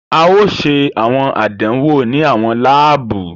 A ò ṣe awọn àdánwò ni awọn laabu.